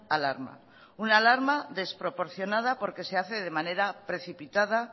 alarma una alarma desproporcionada porque se hace de manera precipitada